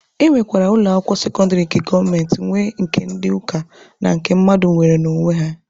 E nwekwara ụlọ akwụkwọ sekọndịrị nke gọọmenti nwe, nke ndị ụka na nke mmadụ nwere n'onwe ya.